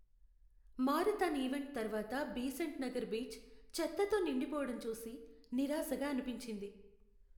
Marathon event తర్వాత Besant Nagar beach, చెత్తతో నిండిపోవడం చూసి నిరాశగా అనిపించింది.